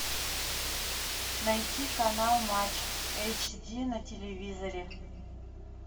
найти канал матч эйч ди на телевизоре